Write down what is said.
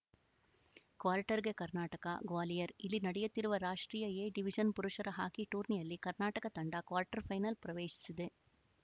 ಕ್ವಾರ್ಟರ್‌ಗೆ ಕರ್ನಾಟಕ ಗ್ವಾಲಿಯರ್‌ ಇಲ್ಲಿ ನಡೆಯುತ್ತಿರುವ ರಾಷ್ಟ್ರೀಯ ಎ ಡಿವಿಜನ್‌ ಪುರುಷರ ಹಾಕಿ ಟೂರ್ನಿಯಲ್ಲಿ ಕರ್ನಾಟಕ ತಂಡ ಕ್ವಾರ್ಟರ್‌ಫೈನಲ್‌ ಪ್ರವೇಶಿಸಿದೆ